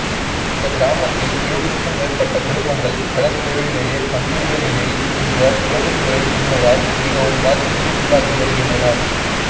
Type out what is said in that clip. இந்தக் கிராமத்தில் எழுபதுக்கும் மேற்பட்ட குடும்பங்கள் கடற்றொழிலையே நம்பியுள்ள நிலையில் இந்த இறங்குதுறை இன்மையால் மிகவும் பாதிப்புக்கு உள்ளாகி வருகின்றனர்